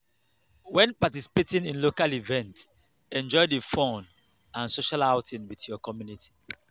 when participating in local event enjoy di fun and social outing with your community